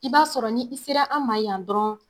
I b'a sɔrɔ ni i sera an ma yan dɔrɔn